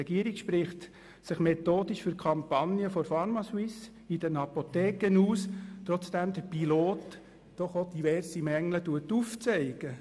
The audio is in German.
Die Regierung spricht sich methodisch für die Kampagne von pharmaSuisse in den Apotheken aus, obwohl das Pilotprogramm auch diverse Mängel aufzeigt.